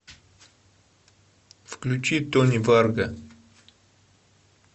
включи тони варга